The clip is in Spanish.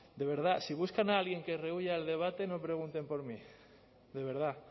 de verdad si buscan a alguien que rehúya el debate no pregunten por mí de verdad